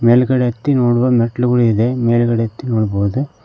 ಮೇಲ್ಗಡೆ ಹತ್ತಿ ನೋಡುವ ಮೆಟ್ಲುಗಳಿದೆ ಮೇಲ್ಗಡೆ ಹತ್ತಿ ನೋಡ್ಬೋದು.